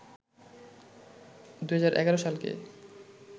২০১১ সালকে